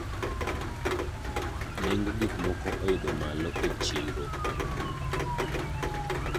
esumnd tnd Si tekaunti e tamthilia ‘kigogo’ which lapses in 2021 will be replaced by ‘si shwari.